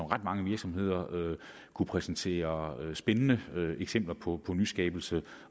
ret mange virksomheder kunne præsentere spændende eksempler på nyskabelser